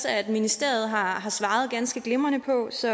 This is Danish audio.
at ministeriet har har svaret ganske glimrende på så